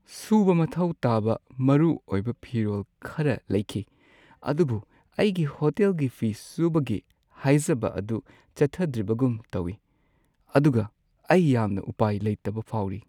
ꯁꯨꯕ ꯃꯊꯧ ꯇꯥꯕ ꯃꯔꯨꯑꯣꯏꯕ ꯐꯤꯔꯣꯜ ꯈꯔ ꯂꯩꯈꯤ, ꯑꯗꯨꯕꯨ ꯑꯩꯒꯤ ꯍꯣꯇꯦꯜꯒꯤ ꯐꯤ ꯁꯨꯕꯒꯤ ꯍꯥꯏꯖꯕ ꯑꯗꯨ ꯆꯠꯊꯗ꯭ꯔꯤꯕꯒꯨꯝ ꯇꯧꯋꯤ, ꯑꯗꯨꯒ ꯑꯩ ꯌꯥꯝꯅ ꯎꯄꯥꯏ ꯂꯩꯇꯕ ꯐꯥꯎꯔꯤ꯫